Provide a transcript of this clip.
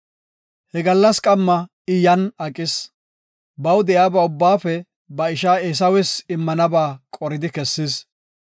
He gallas qamma I yan aqis. Baw de7iyaba ubbaafe ba isha Eesawes immanaba qoridi kessis.